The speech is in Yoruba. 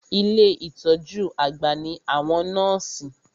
Ilé ìtọjú àgbà ní àwọn nọ́ọ̀sì.